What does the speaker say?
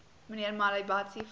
mnr malebatsi vra